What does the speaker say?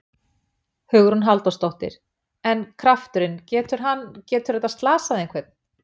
Hugrún Halldórsdóttir: En krafturinn, getur hann, getur þetta slasað einhvern?